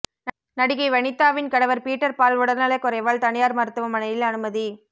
நடிகை வனிதாவின் கணவர் பீட்டர் பால் உடல்நலக் குறைவால் தனியார் மருத்துவமனையில் அனுமதி